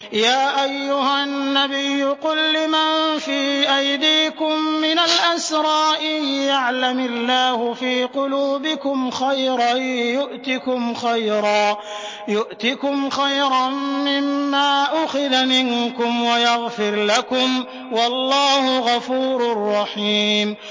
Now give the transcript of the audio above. يَا أَيُّهَا النَّبِيُّ قُل لِّمَن فِي أَيْدِيكُم مِّنَ الْأَسْرَىٰ إِن يَعْلَمِ اللَّهُ فِي قُلُوبِكُمْ خَيْرًا يُؤْتِكُمْ خَيْرًا مِّمَّا أُخِذَ مِنكُمْ وَيَغْفِرْ لَكُمْ ۗ وَاللَّهُ غَفُورٌ رَّحِيمٌ